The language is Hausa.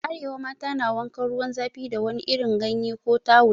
A arewa, mata na wankan ruwan zafi da wani irin ganyen ko tawul.